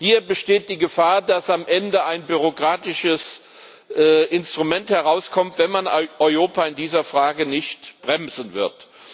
Hier besteht die Gefahr, dass am Ende ein bürokratisches Instrument herauskommt, wenn man EIOPA in dieser Frage nicht bremsen wird.